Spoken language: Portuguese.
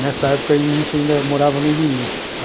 Nessa época a gente ainda morava no Imirim.